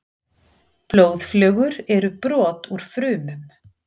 Blóðflögur eru brot úr frumum.